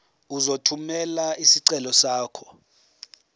uzothumela isicelo sakho